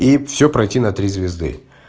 и всё пройти на три звезды